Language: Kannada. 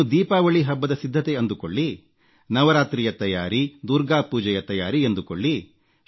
ಇದನ್ನು ದೀಪಾವಳಿ ಹಬ್ಬದ ಸಿದ್ಧತೆ ಅಂದುಕೊಳ್ಳಿ ನವರಾತ್ರಿಯ ತಯಾರಿ ದುರ್ಗಾ ಪೂಜೆಯ ತಯಾರಿ ಎಂದುಕೊಳ್ಳಿ